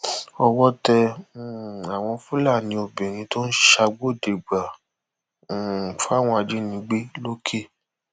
owó tẹ um àwọn fúlàní obìnrin tó ń ṣàgbọdẹgbà um fáwọn ajínigbé lọkẹ